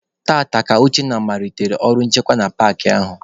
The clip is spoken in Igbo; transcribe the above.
Taata ka Uchenna malitere ọrụ nchekwa na paakị ahụ.